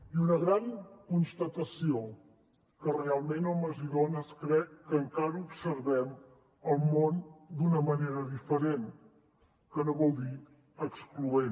i una gran constatació que realment homes i dones crec que encara observem el món d’una manera diferent que no vol dir excloent